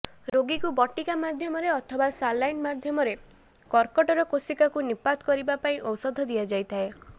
ରୋଗୀକୁ ବଟିକା ମାଧ୍ୟମରେ ଅଥବା ସାଲାଇନ୍ ମାଧ୍ୟମରେ କର୍କଟର କୋଷିବାକୁ ନିପାତ କରିବା ପାଇଁ ଔଷଧ ଦିଆଯାଇଥାଏ